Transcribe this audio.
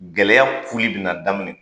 Gɛlɛya kuli bɛna daminɛ.